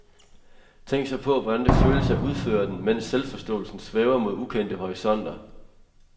Tænk så på, hvordan det føles at udføre den, mens selvforståelsen svæver mod ukendte horisonter.